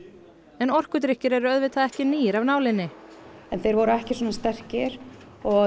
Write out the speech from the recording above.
en orkudrykkir eru auðvitað ekki nýir af nálinni en þeir voru ekki svona sterkir og